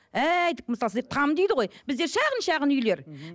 әйдік мысалы сіздер там дейді ғой бізде шағын шағын үйлер мхм